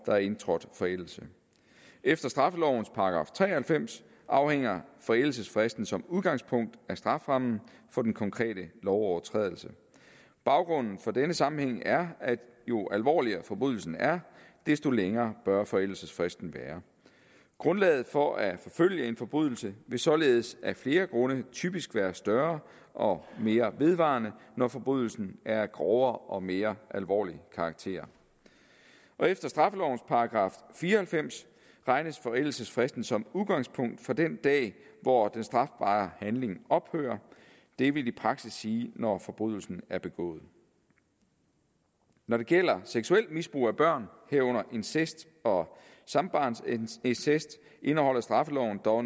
er indtrådt forældelse efter straffelovens § tre og halvfems afhænger forældelsesfristen som udgangspunkt af strafferammen for den konkrete lovovertrædelse baggrunden for denne sammenhæng er at jo alvorligere forbrydelsen er desto længere bør forældelsesfristen være grundlaget for at forfølge en forbrydelse vil således af flere grunde typisk være større og mere vedvarende når forbrydelsen er af grovere og mere alvorlig karakter efter straffelovens § fire og halvfems regnes forældelsesfristen som udgangspunkt fra den dag hvor den strafbare handling ophører det vil i praksis sige når forbrydelsen er begået når det gælder seksuelt misbrug af børn herunder incest og sambarnsincest indeholder straffeloven dog